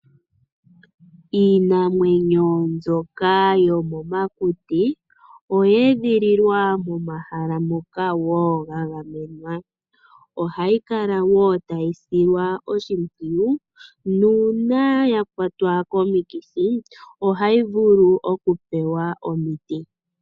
Iinamwenyo mbyoka yomomakuti, oya edhililwa momahala ngoka woo gagamenwa. Ohayi kala woo tayi silwa oshimpwuyu, nuuna yakwatwa komikithi ohayi vulu oku pewa omiti.